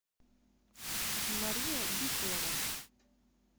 мария бикулова